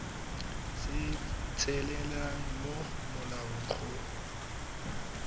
se tshelelang mo molaong go